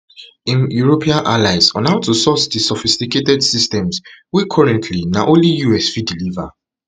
im european allies how to source di sophisticated systems wey currently na only us fit deliver